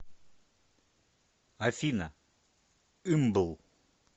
афина ымбл